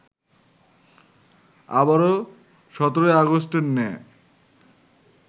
আবারো ১৭ আগস্টের ন্যায়